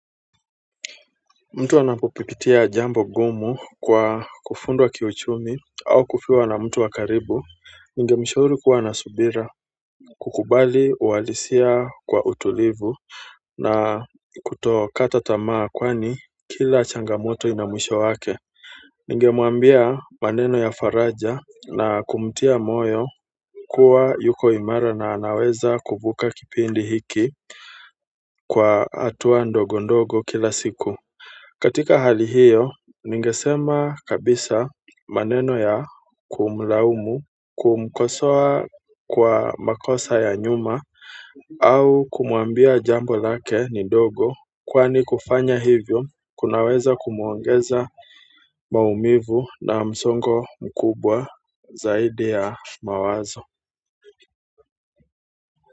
Mtu anapopitia jambo ngumu kwa kufundwa kiuchumi au kufiwa na mtu wa karibu. Ningemshauri kuwa na subira kukubali uhalisia kwa utulivu na kutokata tamaa kwani kila changamoto ina mwisho wake. Ningemwambia maneno ya faraja na kumtia moyo kuwa yuko imara na anaweza kuvuka kipindi hiki kwa hatuwa ndogo ndogo kila siku. Katika hali hiyo ningesema kabisa maneno ya kumlaumu kumkosoa kwa makosa ya nyuma au kumwambia jambo lake ni ndogo kwani kufanya hivo kunaweza kumuongeza maumivu na msongo mkubwa zaidi ya mawazo.